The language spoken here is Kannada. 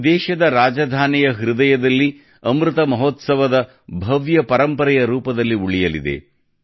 ಇದು ದೇಶದ ರಾಜಧಾನಿಯ ಹೃದಯದಲ್ಲಿ ಅಮೃತ್ ಮಹೋತ್ಸವದ ಭವ್ಯ ಪರಂಪರೆಯ ರೂಪದಲ್ಲಿ ಉಳಿಯಲಿದೆ